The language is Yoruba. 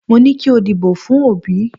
Mo ní kí o dìbò fún Òbí